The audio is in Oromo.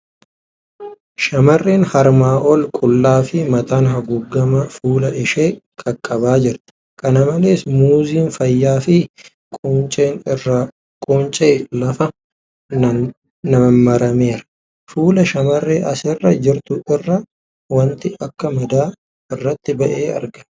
Shamarreen harmaa ol qullaa fi mataan haguugamaa fuula ishee qaqqabaa jirti. Kana malees, Muuziin fayyaa fi qunceen irraa qunca'e lafa nammeera. Fuula shamarree asirra jirtuu irra wanti akka madaa irratti ba'ee argama.